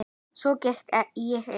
Svo gekk ég inn.